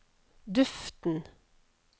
duften